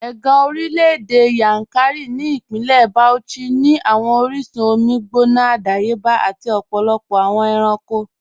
Ẹ̀gàn orílẹ̀-èdè Yankari ni Ipínlẹ̀ Bauchí ni awọn oríṣun omi gbóná àdàyébà àti ọ̀pọ̀lọpọ̀ awọn èrànko